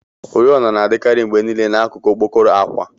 Oriọna na-adikarị mgbe niile na n'akụkụ okpokoro akwa.